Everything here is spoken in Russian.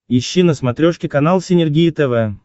ищи на смотрешке канал синергия тв